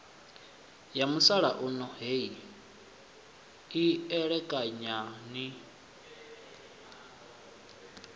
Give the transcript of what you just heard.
ya musalauno heyi elekanyani ni